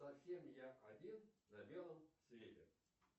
совсем я один на белом свете